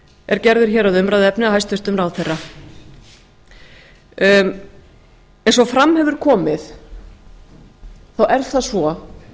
er gerður hér að umræðuefni af hæstvirtum ráðherra eins og fram hefur komið er það svo